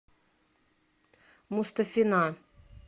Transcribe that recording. мустафина